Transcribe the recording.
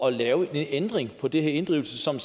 at lave en ændring på den her inddrivelse som